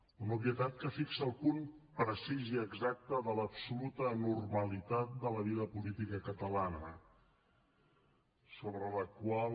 una obvietat que fixa el punt precís i exacte de l’absoluta anormalitat de la vida política catalana sobre la qual